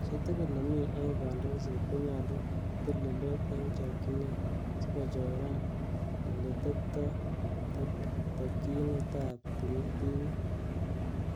Chi tugul nemi en kondoiset, konyolu kotil tilet en chokchinet sikochoran ele tebtoo tokyonet ab timit.